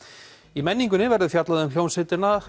í menningunni verður fjallað um hljómsveitina